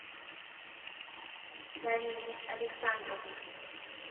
галине александровой